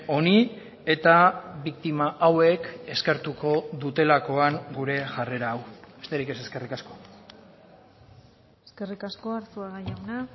honi eta biktima hauek eskertuko dutelakoan gure jarrera hau besterik ez eskerrik asko eskerrik asko arzuaga jauna